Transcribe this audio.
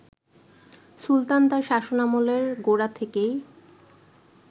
সুলতান তার শাসনামলের গোড়া থেকেই